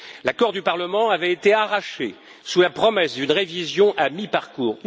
L'accord du Parlement avait été arraché sous la promesse d'une révision à mi parcours.